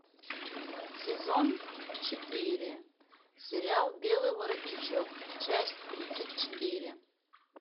сезон четыре сериал белый воротничок часть тридцать четыре